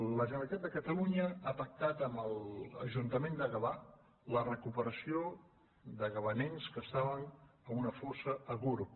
la generalitat de catalunya ha pactat amb l’ajuntament de gavà la recuperació de gavanencs que estaven en una fossa a gurb